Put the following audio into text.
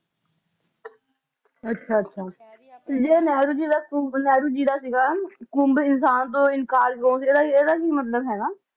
ਅੱਛਾ ਅੱਛਾ ਨਹਿਰੂ ਜੀ ਦਾ ਨਹਿਰੂ ਜੀ ਦਾ ਸੀਗਾ ਕੁੰਭ ਇਨਸਾਨ ਦੇ ਜਾਂ ਇਹਦਾ ਕਿ ਮਤਲਬ ਹੈਗਾ